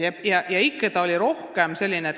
Iseenesest ei juhtu midagi.